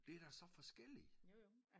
Det er da så forskellig